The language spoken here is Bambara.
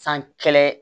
San kɛlɛ